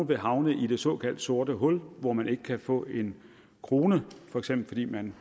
vil havne i det såkaldte sorte hul hvor man ikke kan få en krone fordi man